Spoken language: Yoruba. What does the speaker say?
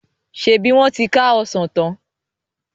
ṣebí wọn ti ká Ọsàn tán?